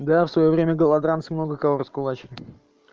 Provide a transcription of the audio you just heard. да я в своё время голодранцы много кого раскулачили